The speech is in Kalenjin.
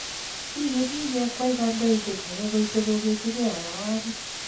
Kikenyi kekwei kandaoindet age koite kogesu ge arawani